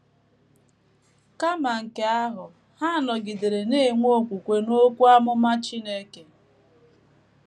Kama nke ahụ, ha nọgidere na - enwe okwukwe n’okwu amụma Chineke.